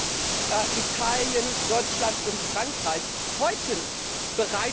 Dass Italien, Deutschland und Frankreich heute bereit sind